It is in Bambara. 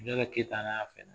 Lala Keyita n'aaa